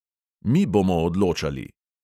Mi bomo odločali!